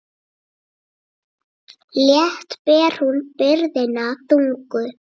Létt ber hún byrðina þungu.